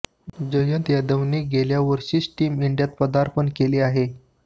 जयंत यादवने गेल्या वर्षीच टीम इंडियात पदार्पण केलं आहे